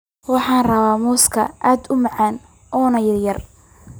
Waxan rawaa mooska cad umacan ona yaryar.